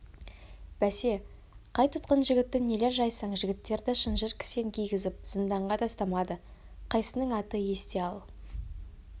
бәсе қай тұтқын жігітті нелер жайсаң жігіттерді шынжыр кісен кигізіп зынданға тастамады қайсының аты есте ал